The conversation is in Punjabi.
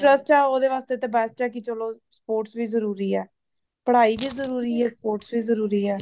ਹਾਂਜੀ, ਹਾਂਜੀ ਐਵੇ ਵੀ ਬੱਚੇ ਫਿਰ, ਅੱਗੇ ਵੀ ਇਵੇ ਹੀ ਨਿੱਕਲਦੇ ਹੇਨਾ ਬੱਚੇ ਜਿਨੂੰ ਤੇ interest ਹੀ ਓਹਦੇ ਵਾਸਤੇ ਤੇ best ਹੇ ਚਲੋ sports ਵੀ ਜ਼ਰੂਰੀ ਹੇ। ਪੜਾਈ ਵੀ ਜਰੂਰੀ ਹੇ ਤੇ sports ਵੀ ਜ਼ਰੂਰੀ ਹੇ।